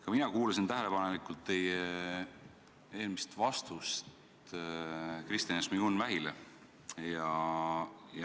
Ka mina kuulasin tähelepanelikult teie eelmist vastust Kristina Šmigun-Vähile.